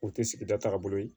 O tɛ sigida tagabolo ye